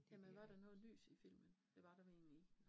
Jamen var der noget lys i filmen, det var vel egentlig ikke